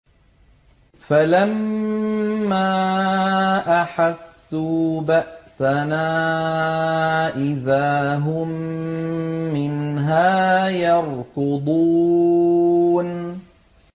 فَلَمَّا أَحَسُّوا بَأْسَنَا إِذَا هُم مِّنْهَا يَرْكُضُونَ